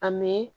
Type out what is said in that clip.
A mɛ